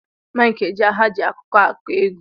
Mike ejiaha ji akụkọ agu egwu.